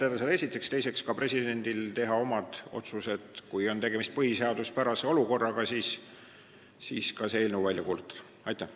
Aga ka presidendil on võimalik teha omad otsused ning kui on tegemist põhiseaduspärase olukorraga, siis see eelnõu seadusena välja kuulutada.